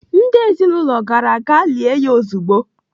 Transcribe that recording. Ndị ezinaụlọ gara gaa lie ya ezigbo.